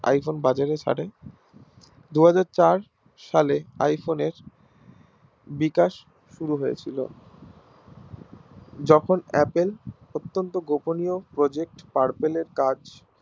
Iphone বাজারে ছারে দুহাজার চার সালে iPhone এর বিকাশ শুরু হয়েছিল যখন apple অত্যন্ত গোপনীয়় Project purple কাজ